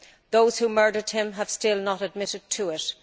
Those who murdered him have still not admitted to it.